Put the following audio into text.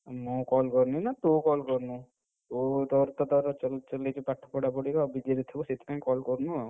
ମୁଁ call କରୁନି ନା ତୁ କରୁନୁ, ତୁ ତୋର ତ ତୋର ଚଲେଇଚୁ ପାଠ ପଢାପଢିବା busy ରେ ଥିବୁ ସେଥିପାଇଁ call କରୁନୁ ଆଉ।